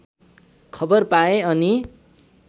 खबर पाए अनि